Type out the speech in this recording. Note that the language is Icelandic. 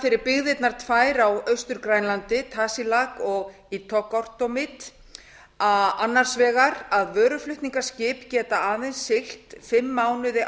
fyrir byggðirnar tvær á austur grænlandi tasiilaq og ittoqqortoormiit þýðir þetta annars vegar að vöruflutningaskip geta aðeins siglt fimm mánuði